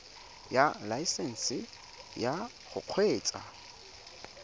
ya laesesnse ya go kgweetsa